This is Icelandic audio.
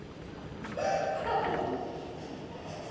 Sjór falli alveg að því.